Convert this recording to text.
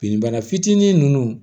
Bin bana fitinin nunnu